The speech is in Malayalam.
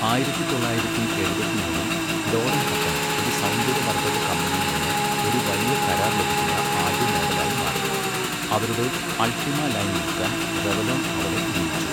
ആയിരത്തി തൊള്ളായിരത്തി എഴുപത്തി മൂന്നിൽ, ലോറൻ ഹട്ടൺ ഒരു സൗന്ദര്യവർദ്ധക കമ്പനിയിൽ നിന്ന് ഒരു വലിയ കരാർ ലഭിക്കുന്ന ആദ്യ മോഡലായി മാറി, അവരുടെ അൾട്ടിമ ലൈൻ വിൽക്കാൻ റെവ്ലോൺ അവളെ നിയമിച്ചു.